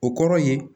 O kɔrɔ ye